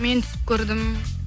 мен түсіп көрдім